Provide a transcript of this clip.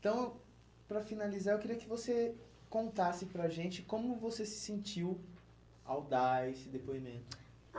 Então, para finalizar, eu queria que você contasse para a gente como você se sentiu ao dar esse depoimento.